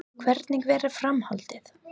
Hvernig verður framhaldið?